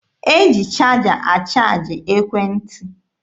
E ji chaja achaaji ekwentị.